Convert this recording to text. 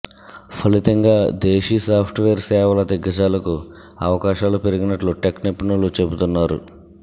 ఫలితంగా దేశీ సాఫ్ట్వేర్ సేవల దిగ్గజాలకు అవకాశాలు పెరిగినట్లు టెక్ నిపుణులు చెబుతున్నారు